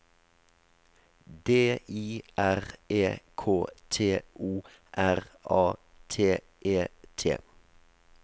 D I R E K T O R A T E T